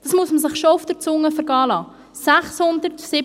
Dies muss man sich schon auf der Zunge zergehen lassen: